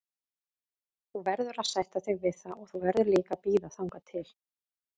Þú verður að sætta þig við það og þú verður líka að bíða þangað til.